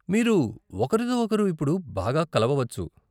మీరు ఒకరితో ఒకరు ఇప్పుడు బాగా కలవవచ్చు.